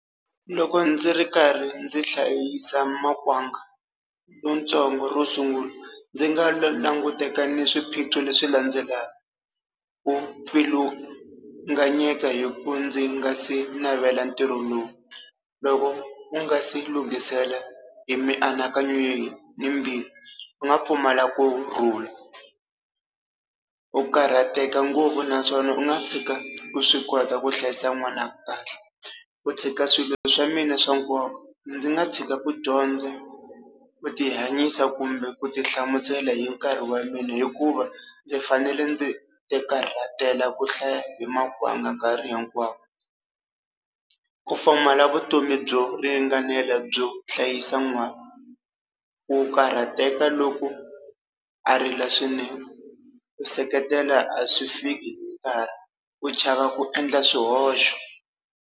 Loko ndzi ri karhi ndzi hlayisa makwanga lontsongo ro sungula, ndzi nga lo languteka ni swiphiqo leswi landzelaka, ku pfulunganyeka hi ku ndzi nga si navela ntirho lowu. Loko u nga si lunghisela hi mianakanyweni ni mbilu, u nga pfumala kurhula, ku karhateka ngopfu naswona u nga tshika u swi kota ku hlayisa n'wana kahle. Ku tshika swilo swa mina swa nkoka. Ndzi nga tshika ku dyondza, ku ti hanyisa kumbe ku ti hlamusela hi nkarhi wa mina hikuva ndzi fanele ndzi ti karhatela ku hlaya hi makwanga nkarhi hinkwawo. Ku pfumala vutomi byo ringanela byo hlayisa n'wana. Ku karhateka loko a rila swinene. Ku seketela a swi fiki hi nkarhi, ku chava ku endla swihoxo.